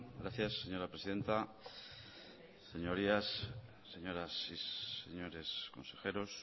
gracias señora presidenta señorías señoras y señores consejeros